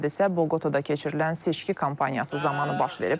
Hadisə Boqotada keçirilən seçki kampaniyası zamanı baş verib.